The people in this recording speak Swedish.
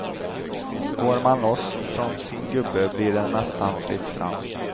Går man loss från sin gubbe blir det nästan fritt fram.